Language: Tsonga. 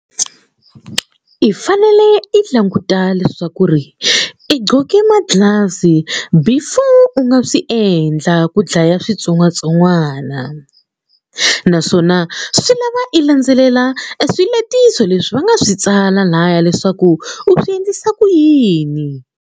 I fanele i languta leswaku ri i gcoke ma gloves before u nga swi endla ku dlaya switsongwatsongwana naswona swi lava i landzelela swiletiso leswi va nga swi tsala laya leswaku u swi endlisa ku yini.